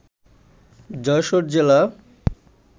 যশোর জেলা